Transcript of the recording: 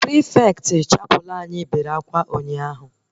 Prịfeti chapelụ anyị bere akwa ụnyaahụ